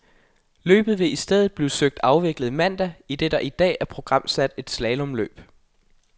Løbet vil i stedet blive søgt afviklet mandag, idet der i dag er programsat et slalomløb.